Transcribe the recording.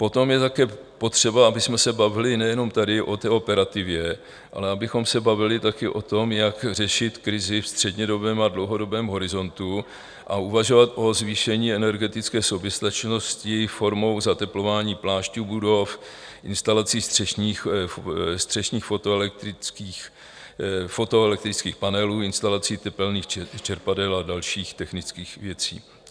Potom je také potřeba, abychom se bavili nejenom tady o té operativě, ale abychom se bavili taky o tom, jak řešit krizi ve střednědobém a dlouhodobém horizontu, a uvažovat o zvýšení energetické soběstačnosti formou zateplování plášťů budov, instalací střešních fotoelektrických panelů, instalací tepelných čerpadel a dalších technických věcí.